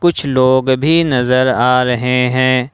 कुछ लोग भी नजर आ रहे हैं।